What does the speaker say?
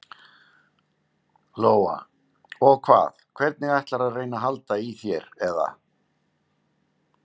Lóa: Og hvað, hvernig ætlarðu að reyna að halda í þér eða?